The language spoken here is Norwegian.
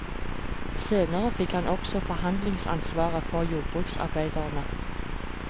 Senere fikk han også forhandlingsansvaret for jordbruksarbeiderne.